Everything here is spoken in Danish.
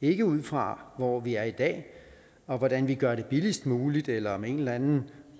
ikke ud fra hvor vi er i dag og hvordan vi gør det billigst muligt eller med en eller anden